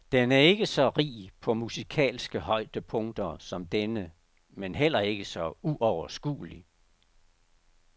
Den er ikke så rig på musikalske højdepunkter som denne, men heller ikke så uoverskuelig.